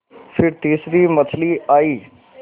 फिर तीसरी मछली आई